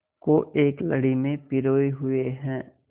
को एक लड़ी में पिरोए हुए हैं